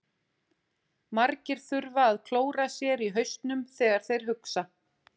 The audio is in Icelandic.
Margir þurfa að klóra sér í hausnum þegar þeir hugsa.